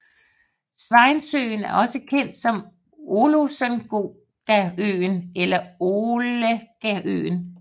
Swainsøen er også kendt som Olosengaøen eller Olohegaøen